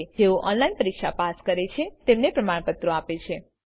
જેઓ ઓનલાઈન પરીક્ષા પાસ કરે છે તેઓને પ્રમાણપત્રો આપે છે